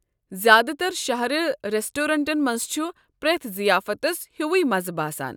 زیٛادٕ تر شہرٕ ریسٹورینٹن منٛز چھ پرٛٮ۪تھ ضِیافتس ہیُوُے مزٕ باسان۔